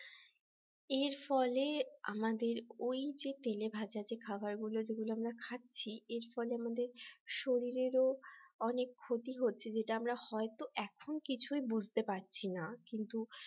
এর ফলে আমাদের ওই যে তেলেভাজা যে খাবার গুলো যেগুলো আমরা খাচ্ছি এর ফলে আমাদের শরীরের অনেক ক্ষতি হচ্ছে যেটা হয়তো এখন কিছুই বুঝতে পারছিনা কিন্তু